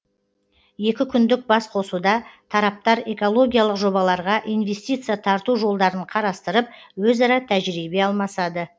екі күндік басқосуда тараптар экологиялық жобаларға инвестиция тарту жолдарын қарастырып өзара тәжірибе алмасады